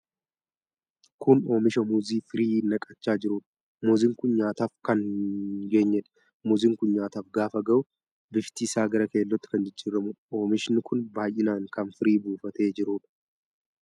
Kun Oomisha muuzii firii naqachaa jiruudha. Muuziin kun nyaataaf kan hin geenyedha. Muuziin kun nyaataf gaafa gahu, bifti isaa gara keellootti kan jijjiramuudha. Oomishi kun baay'inaan kan firii buufatee jiruudha.